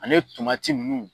Ani nunnu